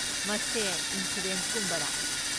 ꯃꯁꯦ ꯏꯟꯁꯣꯔꯦꯟꯁꯒꯨꯝꯕꯔꯥ?